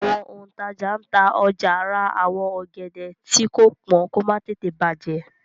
àwọn òǹtajà tá ọjà rà àwọn ògèdè tii ko pọn kò má tètè bajẹ